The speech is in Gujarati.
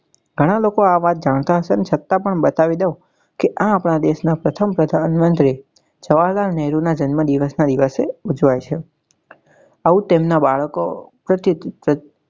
ઘણા લોકો આ વાત જાણતા હશે ને છતાં પણ બતાવી દઉં કી આ આપણા દેશ નાં પ્રથમ જવાહરલાલ નહેરુ ના જન્મદિવસ નાં દિવસે ઉજ્વાય છે. આવું તેમના બાળકો